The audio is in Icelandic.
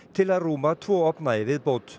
til að rúma tvo ofna í viðbót